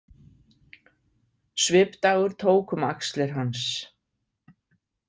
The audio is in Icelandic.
Svipdagur tók um axlir hans.